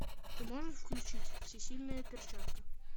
ты можешь включить всесильная перчатка